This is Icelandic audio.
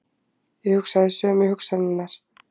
Ég hugsaði sömu hugsanirnar.